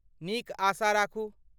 नीक आशा राखू।